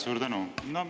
Suur tänu!